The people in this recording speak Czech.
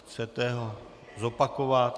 Chcete ho zopakovat?